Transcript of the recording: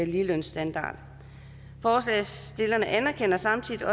ligelønsstandard forslagsstillerne anerkender samtidig at